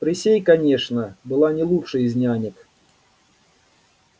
присей конечно была не лучшей из нянек